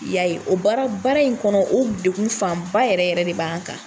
I y'a ye. O baara baara in kɔnɔ o dekun fan ba yɛrɛ yɛrɛ de b'an k'an.